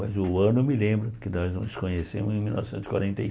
Mas o ano eu me lembro, porque nós nos conhecemos em mil novecentos e quarenta e.